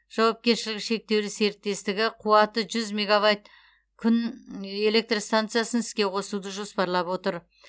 жауапкершілігі шектеулі серіктестігі қуаты жүз мегавайт күн электр станциясын іске қосуды жоспарлап отыр